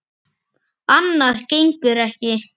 Annað gengur ekki.